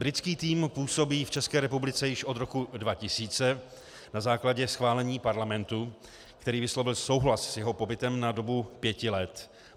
Britský tým působí v České republice již od roku 2000 na základě schválení Parlamentu, který vyslovil souhlas s jeho pobytem na dobu pěti let.